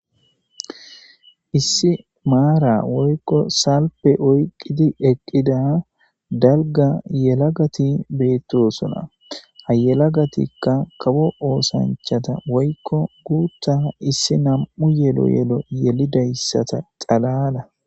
Issi mara woyko salfe oyqidi eqida dalga yelagati betosona ha yelagatika kawo osanchata woyko issi githa issi nam'u yelo yelo yelidaysata xalala.